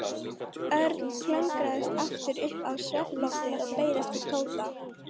Örn klöngraðist aftur upp á svefnloftið og beið eftir Tóta.